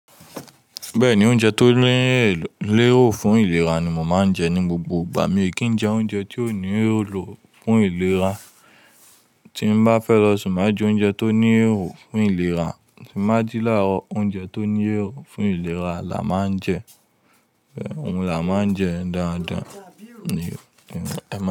Bẹ́ẹ̀ni, oúnjẹ tó ní lẹ́rò fún ìlera ni mo máa ń jẹ ní gbogbo ìgbà. Mi ò kí ń jẹ oúnjẹ tí ò ní èlo fún ìlera. Tí mo bá fẹ́ lọ sùn, má jẹ oúnjẹ tó ní èlò fún ìlera. Tí májìlá, oúnjẹ tó ní èlò fún ìlera la máa ń jẹ. Òun la máa ń jẹ dáadáa ni kí n pa.